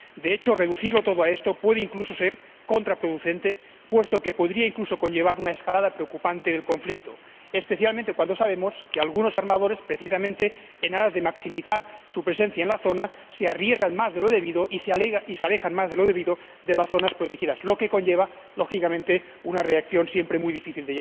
De hecho, reducirlo todo a esto puede incluso ser contraproducente, puesto que podría conllevar una escalada preocupante del conflicto, especialmente cuando sabemos que algunos armadores, precisamente en aras de maximizar su presencia en la zona, se arriesgan más de lo debido y se alejan más de lo debido de las zonas protegidas, lo que conlleva, lógicamente, un riesgo al que siempre es muy difícil